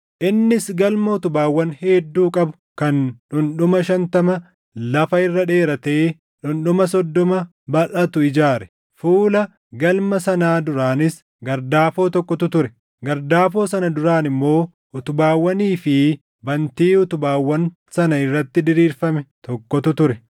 Innis galma utubaawwan hedduu qabu kan dhundhuma shantama lafa irra dheeratee dhundhuma soddoma balʼatu ijaare. Fuula galma sanaa duraanis gardaafoo tokkotu ture; gardaafoo sana duraan immoo utubaawwanii fi bantii utubaawwan sana irratti diriirfame tokkotu ture.